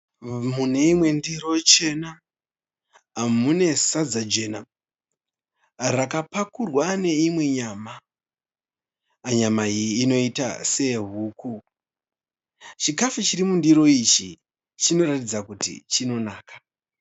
Mune imwe ndiro chena mune sadza jena. Rakapakurwa neimwe nyama. Nyama iyi inoita seye huku. Chikafu chiri mundiro ichi chinoratidza kuti chinonaka.